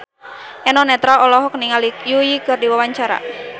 Eno Netral olohok ningali Yui keur diwawancara